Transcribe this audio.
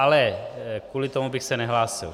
Ale kvůli tomu bych se nehlásil.